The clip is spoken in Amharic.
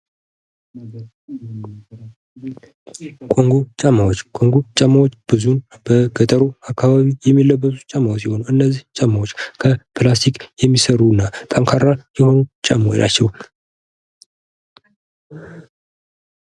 ኮንጎ ጫማዎች ፦ ኮንጎ ጫማዎች ብዙም በገጠሩ አካባቢ የሚለበሱ ጫማዎች ሲሆኑ እነዚህ ጫማዎች ከፕላስቲክ የሚሰሩ እና ጠንካራ የሆኑ ጫማዎች ናቸው ።